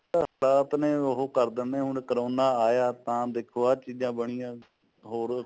ਆਪਣੇ ਉਹ ਕਰ ਦਿੰਦੇ ਨੇ ਜੁੰ corona ਆਇਆ ਤਾਂ ਦੇਖੋ ਆ ਚੀਜਾਂ ਬਣਿਆ ਹੋਰ